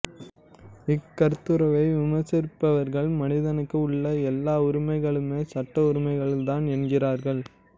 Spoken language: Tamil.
இக் கருத்துருவை விமர்சிப்பவர்கள் மனிதனுக்கு உள்ள எல்லா உரிமைகளுமே சட்ட உரிமைகள்தான் என்கிறார்கள்